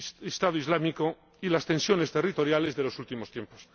Estado Islámico y las tensiones territoriales de los últimos tiempos.